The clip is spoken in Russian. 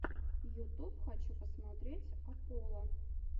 ютуб хочу посмотреть апполо